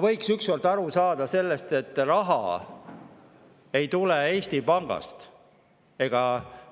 Võiks ükskord aru saada sellest, et raha ei tule Eesti Pangast ega